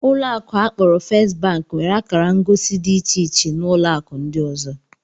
Ụlọ akụ akporo First bank nwere akara ngosi dị iche na ụlọ akụ ndị ọzọ